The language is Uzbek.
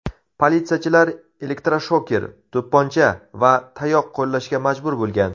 Politsiyachilar elektroshoker, to‘pponcha va tayoq qo‘llashga majbur bo‘lgan.